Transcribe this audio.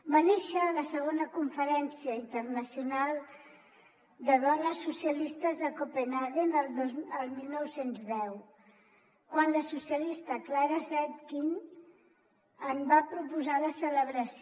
va néixer a la segona conferència internacional de dones socialistes de copenhaguen el dinou deu quan la socialista clara zetkin en va proposar la celebració